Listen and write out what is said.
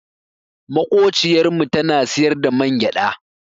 Maƙociyar mu tana siyar da mangyaɗa.